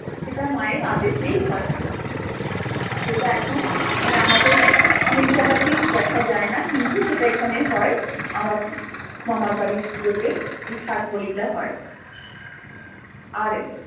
সেটা মা এর আদেশেই হয় যেটা এখন আমাদের অনেক জায়গাতেই দেখা যায় না কিন্তু সেটা এখানে হয় আমার মামার বাড়ির পূজোতে যে সাত বলি টা হয় আর